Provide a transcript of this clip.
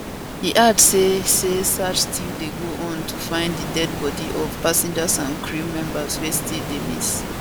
e add say say search still dey go on to find di deadi body of passengers and crew members wey still dey miss